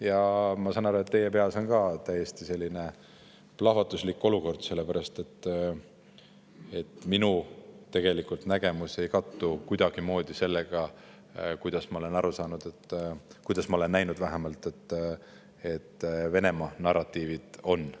Ja ma saan aru, et teie peas on ka täiesti selline plahvatuslik olukord, sellepärast et minu nägemus ei kattu kuidagimoodi sellega, millised, nagu ma olen aru saanud ja näinud, Venemaa narratiivid on.